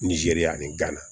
Nizeriya ani ga na